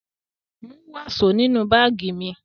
Mú wàsó nínú báágì mi!